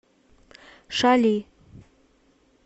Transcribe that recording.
шали